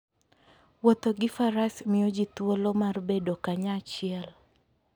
Wuotho gi Faras miyo ji thuolo mar bedo kanyachiel.